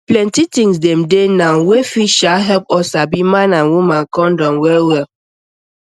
plenty thing dem dey now wey fit sha help us sabi man and woman condom wellwell